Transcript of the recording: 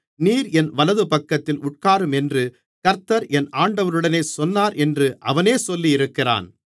நீர் என் வலதுபக்கத்தில் உட்காரும் என்று கர்த்தர் என் ஆண்டவருடனே சொன்னார் என்று அவனே சொல்லியிருக்கிறான்